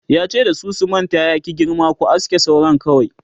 yace da su sumanta ya ki girma"ku aske sauran kawai!"